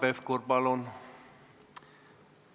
Hanno Pevkur, palun!